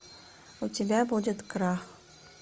у тебя будет крах